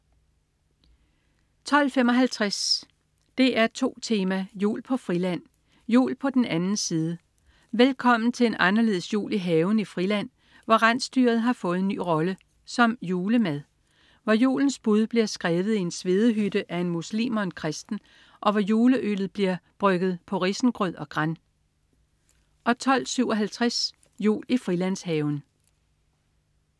12.55 DR2 Tema: Jul på Friland. Jul på den anden side. Velkommen til en anderledes jul i haven i Friland, hvor rensdyret har fået en ny rolle: som julemad. Hvor julens bud bliver skrevet i en svedehytte af en muslim og en kristen. Og hvor juleøllet bliver brygget på risengrød og gran 12.57 Jul i Frilandshaven